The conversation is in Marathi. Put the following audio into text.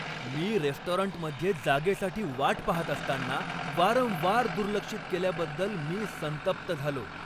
मी रेस्टॉरंटमध्ये जागेसाठी वाट पाहत असताना, वारंवार दुर्लक्षित केल्याबद्दल मी संतप्त झालो.